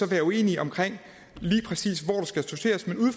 være uenige om lige præcis